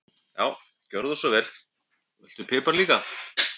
Já, gjörðu svo vel. Viltu pipar líka?